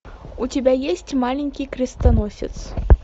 у тебя есть маленький крестоносец